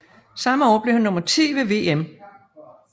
Samme år blev han nummer ti ved VM